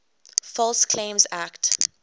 false claims act